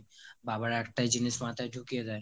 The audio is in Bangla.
বাবারা একটাই জিনিস মাথায় ঢুকিয়ে দেয়